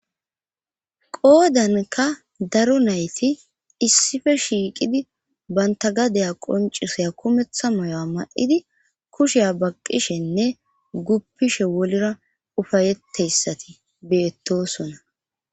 qoodanka daro nayti issife shiiqidi banta gadaya qoncisaya kumeththa moyo7a ma7idi kusheya baqqishenne guppishe wolira ufayetteyssati beettosona